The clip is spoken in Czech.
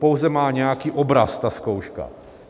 Pouze má nějaký obraz ta zkouška.